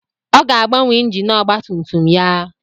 Ọ ga-agbanwe injin ọgba tum tum ya.